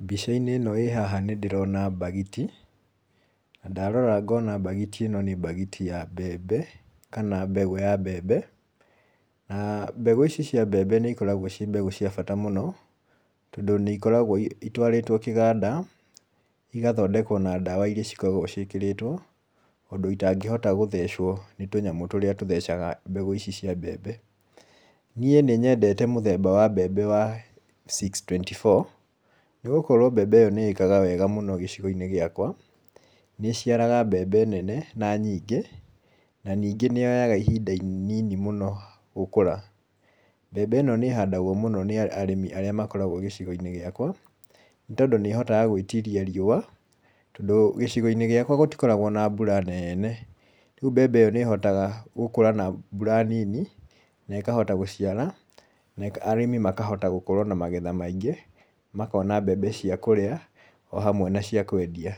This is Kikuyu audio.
Mbica-inĩ ĩno ĩ haha nĩ ndĩrona mbagiti, na ndarora ngona mbagiti ĩno nĩ mbagiti ya mbembe kana mbegũ ya mbembe, na mbegũ ici cia mbembe nĩ ikoragwo ciĩ mbegũ cia bata mũno, tondũ nĩ ikoragwo itwarĩtwo kĩganda, igathondekwo na ndawa iria cikoragwo ciĩkĩrĩtwo, ũndũ citangĩhota gũthecwo nĩ tũnyamũ tũrĩa tũthecaga mbegũ ici cia mbembe. Niĩ nĩ nyendete mũthemba wa mbembe wa six twenty four, nĩ gũkorwo mbembe ĩyo nĩ ĩkaga wega mũno gĩcigo-inĩ gĩakwa, nĩ ĩciaraga mbembe nene na nyingĩ, na ningĩ nĩ yoyaga ihinda inini mũno gũkũra. Mbembe ĩno nĩ ĩhandagwo mũno nĩ arĩmi arĩa makoragwo gĩcigo-inĩ gĩakwa, nĩ tondũ nĩ ĩhotaga gwĩtiria riũa, tondũ gĩcigo-inĩ gĩakwa gũtikoragwo na mbura nene, rĩu mbembe ĩyo nĩ ĩhotaga gũkũra na mbura nini, na ĩkahota gũciara na arĩmi makahota gũkorwo na magetha maingĩ, makona mbembe cia kũrĩa, o hamwe na cia kwendia,